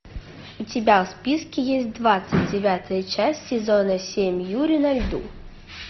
у тебя в списке есть двадцать девятая часть сезона семь юри на льду